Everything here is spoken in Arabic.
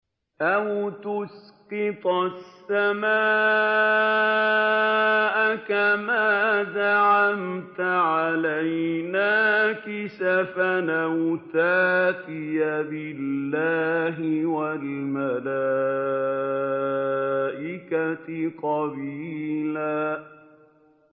أَوْ تُسْقِطَ السَّمَاءَ كَمَا زَعَمْتَ عَلَيْنَا كِسَفًا أَوْ تَأْتِيَ بِاللَّهِ وَالْمَلَائِكَةِ قَبِيلًا